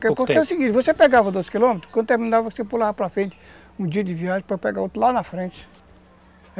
Porque é o seguinte, você pegava doze quilômetros, quando terminava você pulava para frente um dia de viagem para pegar outro lá na frente.